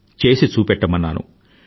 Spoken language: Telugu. చేసి చూపెట్టమన్నాను